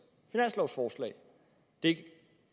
finanslovforslag det